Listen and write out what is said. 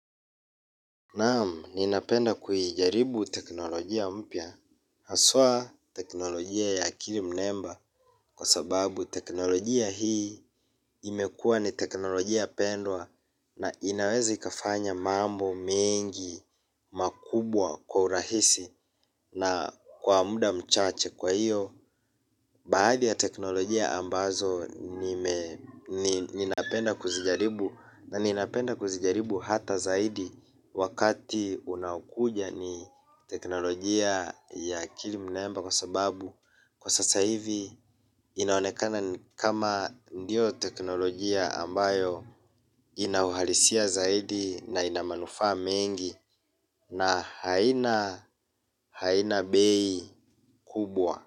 Naam, ninapenda kuijaribu teknolojia mpya. Haswa teknolojia ya akili mnemba kwa sababu teknolojia hii imekua ni teknolojia pendwa na inaweza ikafanya mambo mengi makubwa kwa urahisi na kwa muda mchache kwa iyo. Baadhi ya teknolojia ambazo ninapenda kuzijaribu na ninapenda kuzijaribu hata zaidi wakati unakuja ni teknolojia ya akiili mnemba kwa sababu kwa sasa hivi inaonekana kama ndiyo teknolojia ambayo inauhalisia zaidi na inamanufaa mengi na haina bei kubwa.